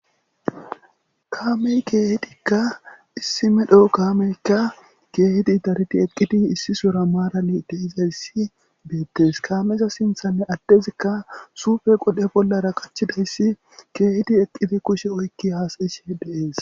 Kaamey keehitikka issi medho kaameykka keehiti dariti eqqiti issisora maarali deizayssi beettes kaameza sinthanne addezikka suufe qodhe bollara kachidayssi keehiti eqqiti kushe oykki haasayishe deees.